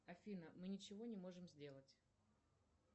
афина мы ничего не можем сделать